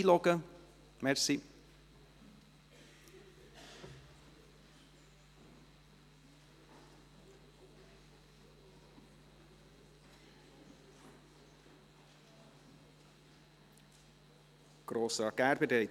Der Regierungsrat informiert die SiK nach der Beschaffung, wo die Uniformteile produziert worden sind.